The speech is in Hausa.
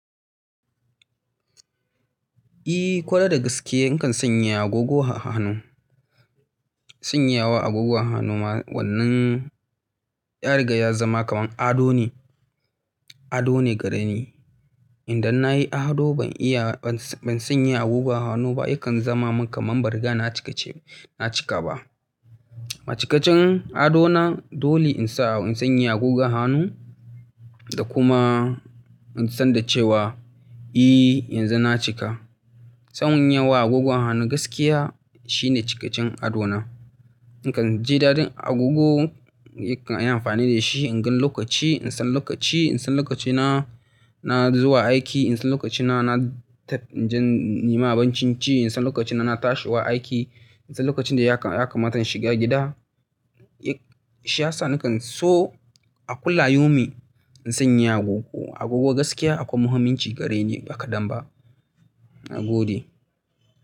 I, kwarai da gaske in kan sanya agogo a hanu. Sanyawa agogon a hanu ma wannan ƴa riga ya zama kamar ado ne, ado ne gare ni. Idan na yi ado ban iya, ban sanya agogon hannu ba, yakan zama min kamar ban riga na cika ce, na cika ba. A cikacin adona dole in sa, in sanya agogon hannu da kuma in san da cewa, i, yanzu na cika. Sanyan wa agogon hannu gaskiya shine cikacen adona. In kan je dadin agogo, ni kan yi amfani da shi, in gan lokaci, in san lokaci, in san lokacina na zuwa aiki, in san lokacina na je nima abancin ci, in san lokacin na tashiwa aiki, in san lokacin da ya kamata in shiga gida. Shi ya sa nakan so a kullayo mi in sanya agogo. Agogo gaskiya akwai muhimmanci gare ni ba kadan ba. Nagode.